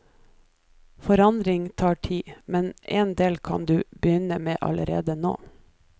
Forandring tar tid, men en del kan du begynne med allerede nå.